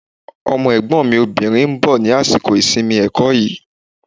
Ọmọ Ẹ̀gbọ́n mi obìnrin ń bọ̀ ní àsìkò ìsinmi ẹ̀kọ́ yìí